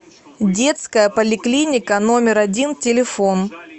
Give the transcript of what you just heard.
детская поликлиника номер один телефон